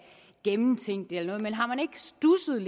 gennemtænkt det eller noget men har man ikke studset